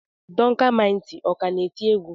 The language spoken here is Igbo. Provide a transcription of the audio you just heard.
Duncan mighty ọ ka na-eti egwu?